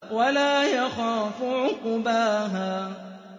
وَلَا يَخَافُ عُقْبَاهَا